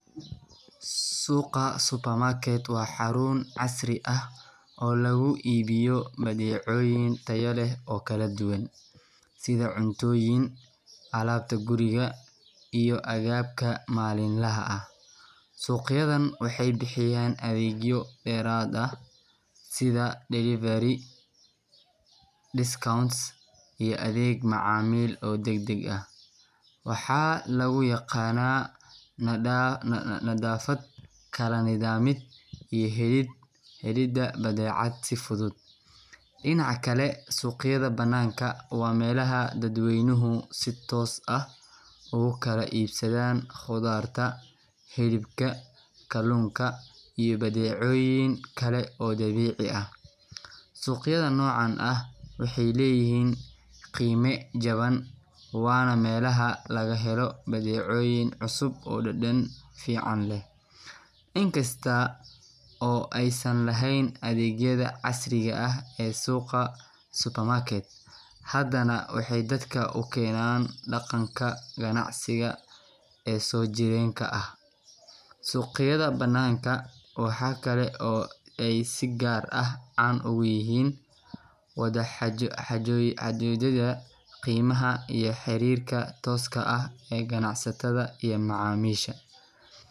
Suqa supermarket waa xarun casri ah oo lagu iibiyo badeecooyin tayo leh oo kala duwan, sida cuntooyin, alaabta guriga, iyo agabka maalinlaha ah. Suuqyadan waxay bixiyaan adeegyo dheeraad ah sida delivery, discounts, iyo adeeg macaamiil oo degdeg ah. Waxaa lagu yaqaanaa nadaafad, kala nidaamid, iyo helidda badeecada si fudud. Dhinaca kale, suuqyada banaanka waa meelaha dadweynuhu si toos ah ugu kala iibsadaan khudaarta, hilibka, kalluunka, iyo badeecooyin kale oo dabiici ah. Suuqyada noocan ah waxay leeyihiin qiime jaban, waana meelaha laga helo badeecooyin cusub oo dhadhan fiican leh. In kasta oo aysan lahayn adeegyada casriga ah ee suqa supermarket, haddana waxay dadka u keenaan dhaqanka ganacsiga ee soo jireenka ah. Suuqyada banaanka waxa kale oo ay si gaar ah caan ugu yihiin wada xaajoodyada qiimaha iyo xiriirka tooska ah ee ganacsatada iyo macaamiisha.